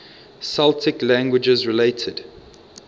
celtic languages related